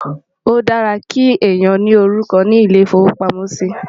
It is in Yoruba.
o dára kí èyán ní orúkọ ní ilè ifowo pàmò sí